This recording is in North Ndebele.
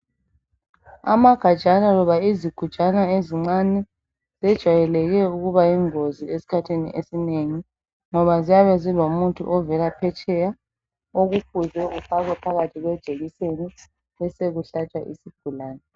amagajana loba izigujana ezincane zijayeleke ukuba yingozi esikhathi esinengi ngoba ziyabe zilomuthi ovela phetsheya okufuze ufakwe phakathi kwejekiseni besekuhlatshwa isigulane